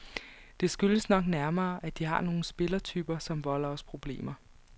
Det skyldes nok nærmere, at de har nogle spillertyper, som volder os problemer.